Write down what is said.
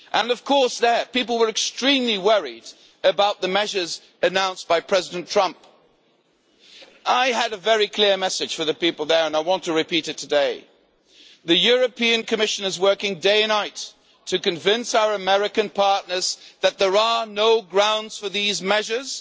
Of course, people there were extremely worried about the measures announced by President Trump. I had a very clear message for the people there and I want to repeat it today the Commission is working day and night to convince our American partners that there are no grounds for these measures.